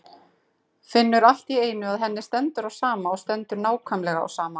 Finnur allt í einu að henni stendur á sama, stendur nákvæmlega á sama.